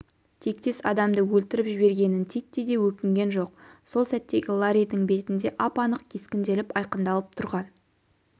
тектес адамды өлтіріп жібергенін титтей де өкінген жоқ сол сәттегі ларридің бетінде ап-анық кескінделіп айқындалып тұрған